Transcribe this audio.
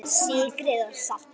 Sykrið og saltið.